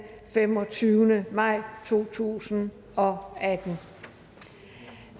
femogtyvende maj to tusind og atten